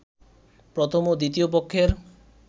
প্রথম ও দ্বিতীয় পক্ষের